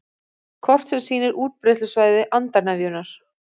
Kort sem sýnir útbreiðslusvæði andarnefjunnar